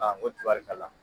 Aa ko tibarikala